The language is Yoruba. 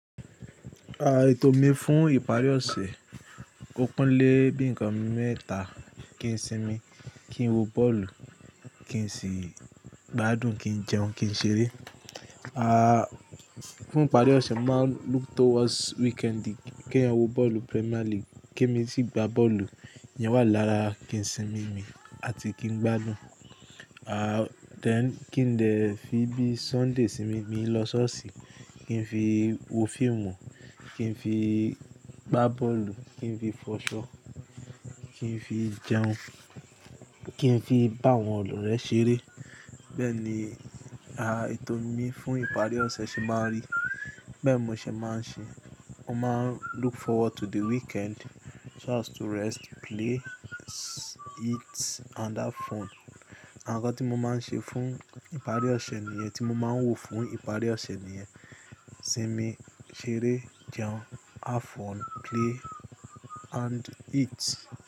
Ètò mi fún ìparí ọ̀sẹ̀, ó pín lé bí nǹkan mẹ́ta; kí n sinmi, kí n wo bọ́ọ̀lù, kí n sì gbádùn, kí n jẹun, kí n ṣeré. Fún ìparí ọ̀sẹ̀, màá look towards weekend kí n wo bọ́ọ̀lù Premier League, kí èmi sì gbá bọ́ọ̀lù, ìyẹn wà lára ìsinmi mi àti kí n gbádùn. Then kí n dè fi bí Sunday sinmi mi lọ ṣọ́ọ̀ṣì, kí n fi wo fíìmù, kí n fi gbá bọ́ọ̀lù, kí n fi fọṣọ, kí n fi jẹun, kí n fi bá àwọn ọ̀rẹ́ ṣeré. Bẹ́ẹ̀ ni, ètò mi fún ìparí ọ̀sẹ̀ ṣe máa rí. Bẹ́ẹ̀ ni mò ṣe máa ń ṣe. Mo máa ń look forward to the weekend so as to rest, play, eat and have fún. Àwọn nǹkan tí mo máa ń ṣe fún ìparí ọ̀sẹ̀ nìyẹn, tí mo máa ń wò fún ìparí ọ̀sẹ̀ nìyẹn; sinmi, ṣeré, jẹun, have fún, play and eat.